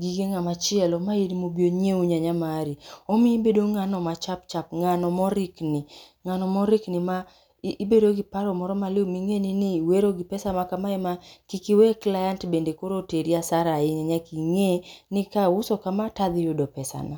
gige ng'amachielo, ma in mobi onyiew nyanya mari. Omiyi ibedo ng'ano ma chapchap, ng'ano morikni, ng'ano morikni ma ibedo gi paro moro maliw ming'eni niwero gi pesa ma kamae ma kik iwe client bende oro oteri asara ahinya, ing'e ni kauso kama tadhi yudo pesana.